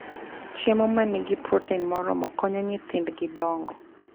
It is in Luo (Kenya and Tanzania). Chiemo ma nigi protein moromo konyo nyithindgi dongo.